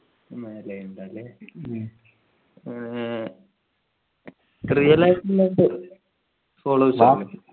മേലെ ഉണ്ട് അല്ലെ ആഹ് real life നകത്തു followers ഉണ്ടോ